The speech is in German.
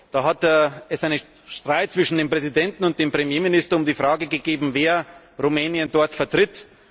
Da hat es einen Streit zwischen dem Präsidenten und dem Premierminister um die Frage gegeben, wer Rumänien dort vertritt.